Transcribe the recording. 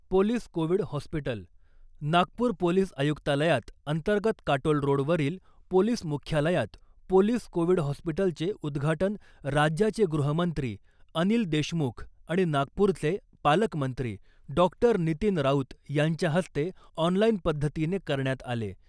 Police Covid hospital Nagpur police आयुक्तालयात अंतर्गत Katol road वरील पोलिस मुख्यालयात पोलीस कोविड हॉस्पिटलचे उद्घाटन राज्याचे गृहमंत्री अनिल देशमुख आणि नागपूरचे पालकमंत्री डॉक्टर नितीन राऊत यांच्या हस्ते ऑनलाइन पद्धतीने करण्यात आले .